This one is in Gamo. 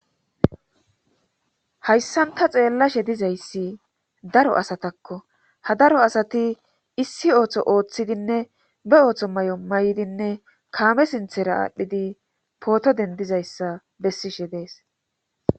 hayssan ta xeellashe dizayssi daro asatakko ha daro asati issi ooththo ooththidinne be ooththo may7on may7dinne kaame sinthera aadhdhidi pooto dendizayssa bessishe dees